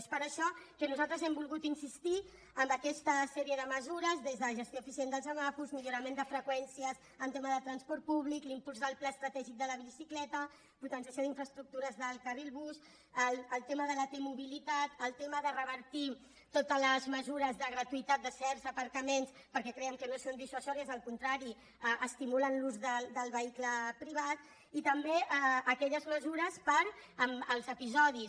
és per això que nosaltres hem volgut insistir amb aquesta sèrie de mesures des de la gestió eficient dels semàfors millorament de freqüències en tema de transport públic l’impuls del pla estratègic de la bicicleta potenciació d’infraestructures del carril bus el tema de la t mobilitat el tema de revertir totes les mesures de gratuïtat de certs aparcaments perquè creiem que no són dissuasives al contrari estimulen l’ús del vehicle privat i també aquelles mesures per als episodis